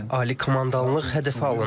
Ali komandanlıq hədəfə alındı.